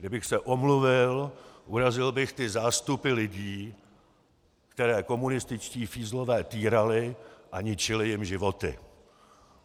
Kdybych se omluvil, urazil bych ty zástupy lidí, které komunističtí fízlové týrali a ničili jim životy.